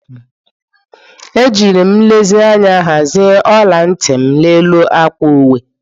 Ejiri m nlezianya hazie ola ntị m n'elu akwa uwe.